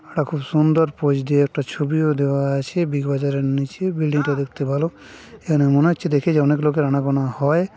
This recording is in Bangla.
এরা খুব সুন্দর পোজ দিয়ে একটা ছবি ও দেওয়া আছে বিগ বাজার এর নিচে বিল্ডিং -টা দেখতে ভালো এখানে মনে হচ্ছে দেখে যে অনেক লোকের আনা গোনা হয়।